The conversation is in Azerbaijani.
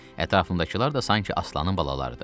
Ətrafındakılar da sanki aslanın balalarıdır.